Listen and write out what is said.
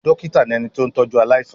Dọ́kítá ni ẹni tó ń tọ́jú aláìsàn.